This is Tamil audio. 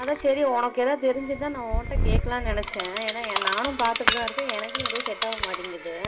அதான் சரி உனக்கு ஏதாவது தெரிஞ்சது நா உண்ட ஏதும் கேக்கலாம்னு நினச்சேன் என்னாநானும் பாத்துட்டு தான் இருக்கேன் எனக்கும் ஏதும் set ஆக மாடிங்குது